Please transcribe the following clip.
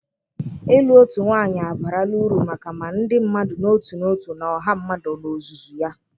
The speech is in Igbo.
Ịlụ otu nwanyị abarala uru maka ma ndị mmadụ n'otu n'otu na ọha mmadụ n'ozuzu ya